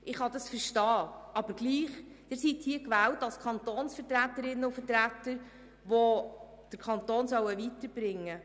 Ich kann es verstehen, aber trotzdem: Sie sind hier als Kantonsvertreterinnen und Kantonsvertreter gewählt, die den Kanton weiterbringen